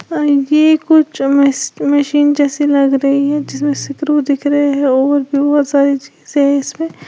और ये कुछ मश मशीन जैसी लग रही है जिसमें स्क्रू दिख रहे है और भी बहोत सारी चीज है इसमें।